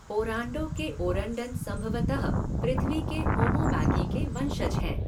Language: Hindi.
ओरांडो के ओरंडन संभवतः पृथ्वी के होमो मैगी के वंशज हैं।